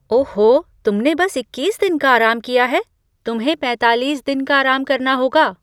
ओहो, तुमने बस इक्कीस दिन का आराम किया है? तुम्हें पैंतालीस दिन का आराम करना होगा।